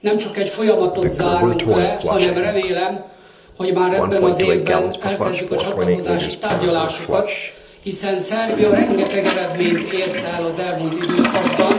Nemcsak egy folyamatot zárunk le, hanem remélem, hogy már ebben az évben megkezdjük a csatlakozási tárgyalásokat, hiszen Szerbia rengeteg eredményt ért el az elmúlt időszakban.